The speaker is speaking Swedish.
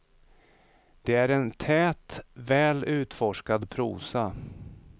Det är en tät, väl utforskad prosa.